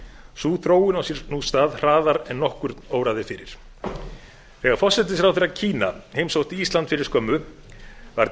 sú þróun á sér nú stað hraðar en nokkurn óraði fyrir þegar forsætisráðherra kína heimsótti ísland fyrir skömmu var